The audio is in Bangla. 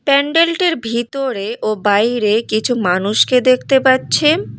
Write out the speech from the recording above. প্যান্ডেলটির ভিতরে ও বাইরে কিছু মানুষকে দেখতে পাচ্ছেন।